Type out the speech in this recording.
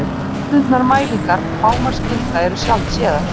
Hefðbundnar mælingar hámarksgilda eru sjaldséðar.